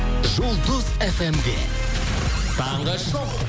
жұлдыз фм де таңғы шоу